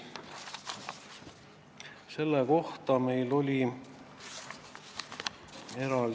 Praeguse eelnõu järgi oleme sellest veel kaugel.